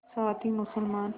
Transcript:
साथ ही मुसलमान